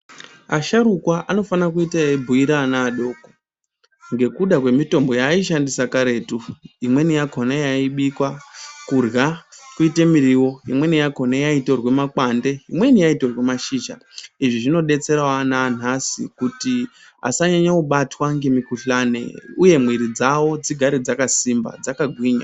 Asharukwa anofana kuite eibhuira ana adoko ngekuda kwemitombo yaaishandisa karetu. Imweni yakona yaibikwa kurya kuite miriwo. Imweni yakona yaitorwe makwande, imweni yaitorwe mashizha. Izvi zvinodetserawo ana anhasi kuti asanyanya kubatwa ngemikuhlani uye mwiiri dzavo dzigere dzakasimba dzakagwinya.